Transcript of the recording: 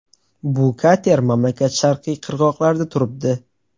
Bu kater mamlakat sharqiy qirg‘oqlarida turibdi.